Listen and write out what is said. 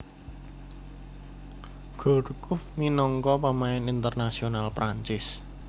Gourcuff minangka pemain Internasional Perancis